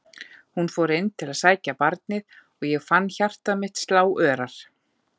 Hún fór inn til að sækja barnið og ég fann hjarta mitt slá örar.